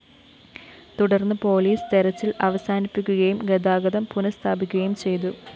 തുടര്‍ന്ന് പോലീസ് തെരച്ചില്‍ അവസാനിപ്പിക്കുകയും ഗതാഗതം പുനഃസ്ഥാപിക്കുകയും ചെയ്തു